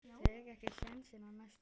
Tek ekki sénsinn á næstu.